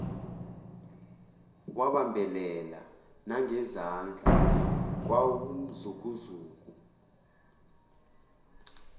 wabambelela nangezandla kwawumzukuzuku